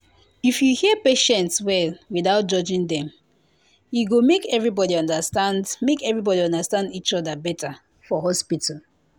if you hear patient well without judging dem e go make everybody understand make everybody understand each other better for hospital